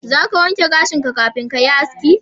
Za ka wanke gashinka kafin ka yi haski?